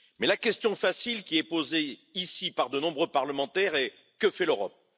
Mais la question facile, qui est posée ici par de nombreux parlementaires, est Que fait l'Europe?